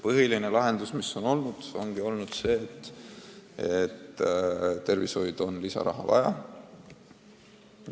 Põhiline järeldus ongi olnud see, et tervishoidu on lisaraha vaja.